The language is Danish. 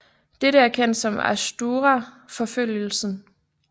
Dette er kendt som Atsuhara forfølgelsen